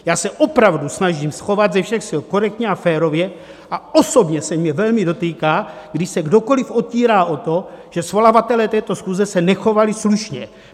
Já se opravdu snažím chovat ze všech sil korektně a férově a osobně se mě velmi dotýká, když se kdokoliv otírá o to, že svolavatelé této schůze se nechovali slušně.